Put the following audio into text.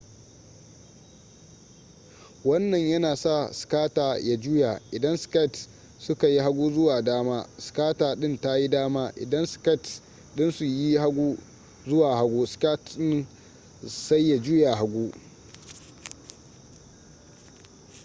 wannan yana sa skater ya juya idan skates suka yi hagu zuwa dama skater din tayi dama idan skates dinsu yi hagu zuwa hagu skater din sai ya juya hagu